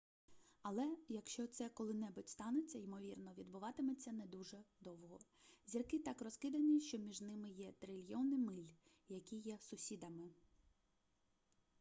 але якщо це коли-небудь станеться ймовірно відбуватиметься не дуже довго зірки так розкидані що між ними є трильйони миль які є сусідами